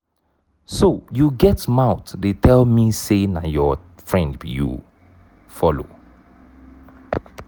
so you get mouth dey tell me say na your friend you follow.